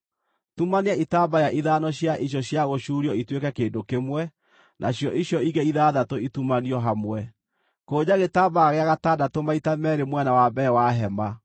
Tumania itambaya ithano cia icio cia gũcuurio ituĩke kĩndũ kĩmwe, nacio icio ingĩ ithathatũ itumanio hamwe. Kũnja gĩtambaya gĩa gatandatũ maita meerĩ mwena wa mbere wa hema.